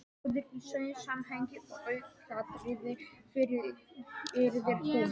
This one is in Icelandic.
Bróðir í því samhengi aukaatriði, fullyrðir hún.